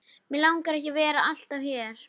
Mig langar ekki að vera alltaf hér.